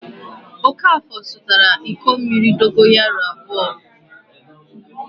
Okafọ zụtara iko mmiri dogoyaro abụọ.